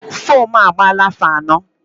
Fomu a agbala afọ anọ